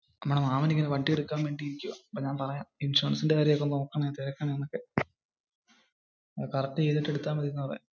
നമ്മുടെ മാമൻ ഇങ്ങനെ വണ്ടി എടുക്കാൻ നികുവാ ഞാൻ പറയാം ഇൻഷുറൻസിന്റെ കാര്യം ഒക്കെ നോക്കണം, correct ച്യ്തിട്ടു എടുത്ത മതി എന്ന് പറയാം.